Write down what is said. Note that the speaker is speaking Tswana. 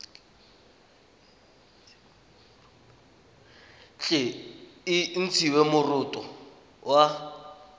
tle e ntshiwe moroto wa